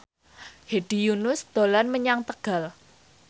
Hedi Yunus dolan menyang Tegal